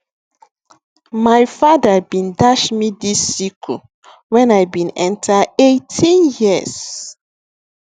my father bin dash me dis sickle when i bin enter 18 years